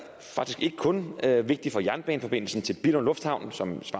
kun vigtig for jernbaneforbindelsen til billund lufthavn som